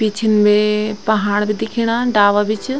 पिछन वे पहाड बि दिख्येणा डाला भि च।